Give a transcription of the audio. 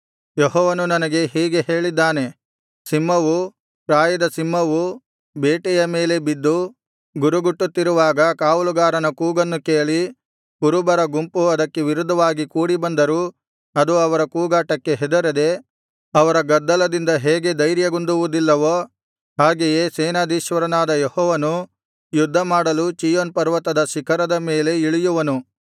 ಯೆಹೋವನು ನನಗೆ ಹೀಗೆ ಹೇಳಿದ್ದಾನೆ ಸಿಂಹವು ಪ್ರಾಯದ ಸಿಂಹವು ಬೇಟೆಯ ಮೇಲೆ ಬಿದ್ದು ಗುರುಗುಟ್ಟುತ್ತಿರುವಾಗ ಕಾವಲುಗಾರನ ಕೂಗನ್ನು ಕೇಳಿ ಕುರುಬರ ಗುಂಪು ಅದಕ್ಕೆ ವಿರುದ್ಧವಾಗಿ ಕೂಡಿಬಂದರೂ ಅದು ಅವರ ಕೂಗಾಟಕ್ಕೆ ಹೆದರದೆ ಅವರ ಗದ್ದಲದಿಂದ ಹೇಗೆ ಧೈರ್ಯಗುಂದುವುದಿಲ್ಲವೋ ಹಾಗೆಯೇ ಸೇನಾಧೀಶ್ವರನಾದ ಯೆಹೋವನು ಯುದ್ಧಮಾಡಲು ಚೀಯೋನ್ ಪರ್ವತದ ಶಿಖರದ ಮೇಲೆ ಇಳಿಯುವನು